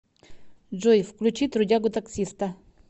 джой включи трудягу таксиста